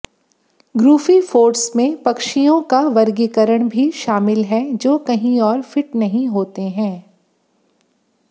ग्रुफिफोर्ड्स में पक्षियों का वर्गीकरण भी शामिल है जो कहीं और फिट नहीं होते हैं